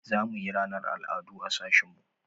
Za mu yi ranar al'adu a sashin mu.